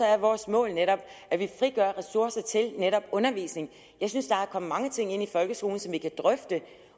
er vores mål netop at vi frigør ressourcer til undervisning jeg synes der er kommet mange ting ind i folkeskolen som vi kan drøfte